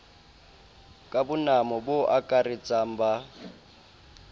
ka bonamo bo akaratsang ba